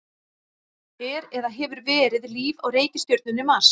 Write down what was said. Er eða hefur verið líf á reikistjörnunni Mars?